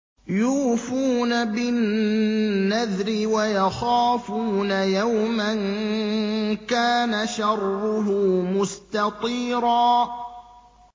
يُوفُونَ بِالنَّذْرِ وَيَخَافُونَ يَوْمًا كَانَ شَرُّهُ مُسْتَطِيرًا